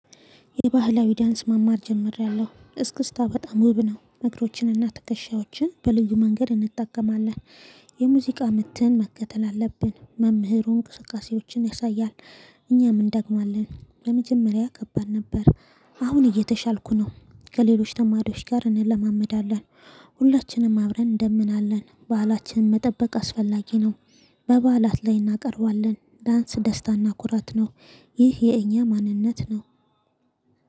የባህላዊ ዳንስ መማር ጀምሬያለሁ እስክስታ በጣም ውብ ነው እግሮችንና ትከሻዎችን በልዩ መንገድ እንጠቀማለን። የሙዚቃ ምትህን መከተል አለብን መምህሩ እንቅስቃሴዎችን ያሳያል። እኛም እንደግማለን በመጀመሪያ ከባድ ነበር። አሁን እየተሻልኩ ነው ከሌሎች ተማሪዎች ጋር እንለማመዳለን። ሁላችንም አብረን እንደምናለን ባህላችንን መጠበቅ አስፈላጊ ነው። በበዓላት ላይ እናቀርባለን ዳንስ ደስታና ኩራት ነው። ይህ የእኛ ማንነት ነው።